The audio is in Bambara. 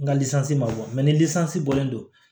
N ka ma ni bɔlen don